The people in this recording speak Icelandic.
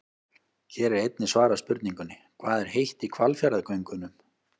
Hér er einnig svarað spurningunni: Hvað er heitt í Hvalfjarðargöngunum?